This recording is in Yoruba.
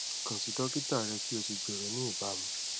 kan si dokita rẹ ki o si gbero ni ibamu